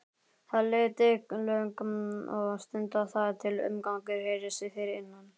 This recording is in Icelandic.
Það leið drykklöng stund þar til umgangur heyrðist fyrir innan.